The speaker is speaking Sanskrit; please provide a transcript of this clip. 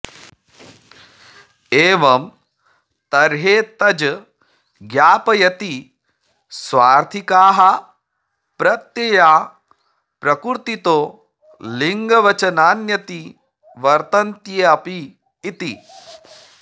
एवं तर्ह्येतज् ज्ञापयति स्वार्थिकाः प्रत्यया प्रकृतितो लिङ्गवचनान्यतिवर्तन्ते ऽपि इति